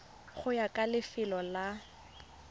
go ya ka lefelo la